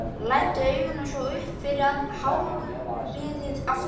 Læddi augunum svo upp fyrir handriðið aftur.